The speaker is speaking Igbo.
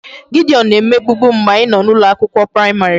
Gideon na-emegbubu m mgbe anyị nọ n'ụlọ akwụkwọ praịmarị